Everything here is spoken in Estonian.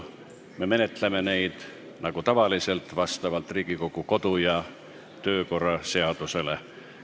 Me menetleme neid nagu tavaliselt vastavalt Riigikogu kodu- ja töökorra seadusele.